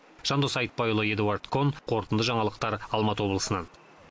жандос айтбайұлы эдуард кон қорытынды жаңалықтар алматы облысынан